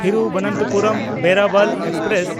ᱛᱷᱤᱨᱩᱵᱚᱱᱛᱚᱯᱩᱨᱚᱢ–ᱵᱮᱨᱟᱵᱟᱞ express